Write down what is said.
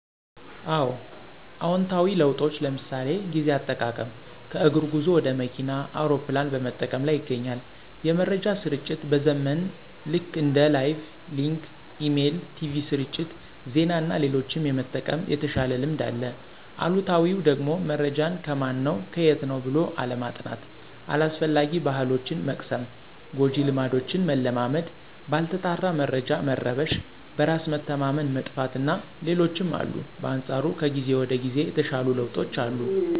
አወ። አዎንታዊ ለውጦች ለምሣሌ፦ ጊዜ አጠቃቀም ከእግር ጉዞ ወደ መኪና፣ አውሮፕላን በመጠቀም ላይ ይገኛል። የመረጃ ስርጭት መዘመን ልክ እንደ ላይቭ፣ ሊንክ፣ ኢሜል፣ ቲቪ ስርጭት፣ ዜና እና ሌሎችም የመጠቀም የተሻለ ልምድ አለ። አሉታዊው ደግሞመረጃን ከማን ነው ከየት ነው ብሎ አለማጥናት። አላስፈላጊ ባሕሎችን መቅሰም፣ ጎጂ ልማዶችን መለማመድ፣ ባልተጣራ መረጃ መረበሽ፣ በራስ መተማመን መጥፋት እና ሌሎችም አሉ። በአንፃሩም ከጊዜ ወደ ጊዜ የተሻሉ ለውጦች አሉ።